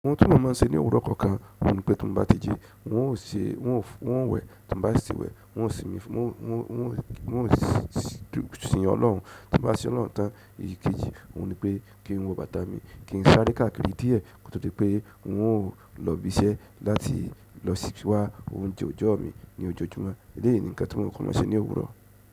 Ohun tí mò n mọ́n ṣe ní òwúrọ̀ kọ̀ọ̀kan ohun ni pé tí n bá ti jí on ṣe on wẹ̀ tí n bá sì ti wẹ̀ on simi on si. Sin Ọlọ́hun, tí mo bá ṣí Ọlọ́hun tán èyí kejì, òhun ni pé kí n wo bàtà mi, kí n sáré káàkiri díẹ̀, kótó di pé on ò lọ ibi iṣẹ́ láti lọ sí wá oúnjẹ òjọ́ mi ní ojoojúmọ́. Eléyìí ni nǹkan tí mo kọ́ máa ń ṣe ní òwúrọ̀.